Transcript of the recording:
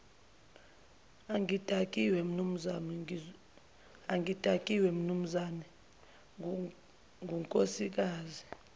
angidakiwe mnumzane ngunkosikazi